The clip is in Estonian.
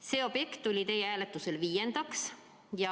See objekt tuli teie hääletusel viiendaks.